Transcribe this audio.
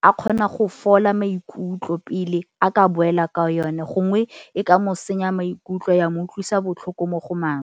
a kgona go fola maikutlo pele a ka boela ka yone gongwe e ka mo senya maikutlo ya mo utlwisa botlhoko mo go maswe.